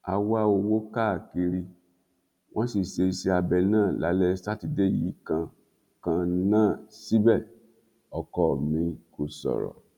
a wá owó káàkiri wọn sì ṣe iṣẹabẹ náà lálẹ sátidé yìí kan kan náà síbẹ ọkọ mi kò sọrọ